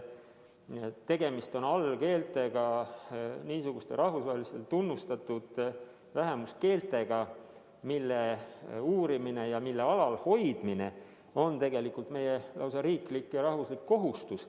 Tegemist on allkeeltega, niisuguste rahvusvaheliselt tunnustatud vähemuskeeltega, mille uurimine ja mille alalhoidmine on lausa riiklik ja rahvuslik kohustus.